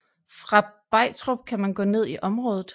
Fra Begtrup kan man gå ned i området